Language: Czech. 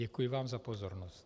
Děkuji vám za pozornost.